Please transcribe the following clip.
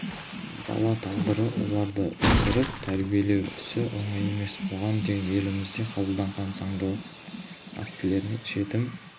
бала тағдыры оларды өсіріп тәрбиелеу ісі оңай емес бұған дейін елімізде қабылданған заңнамалық актілерде жетім